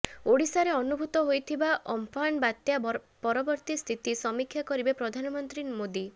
ଓଡ଼ିଶାରେ ଅନୁଭୂତ ହୋଇଥିବା ଅମ୍ଫାନ ବାତ୍ୟା ପରବର୍ତ୍ତୀ ସ୍ଥିତି ସମୀକ୍ଷା କରିବେ ପ୍ରଧାନମନ୍ତ୍ରୀ ମୋଦୀ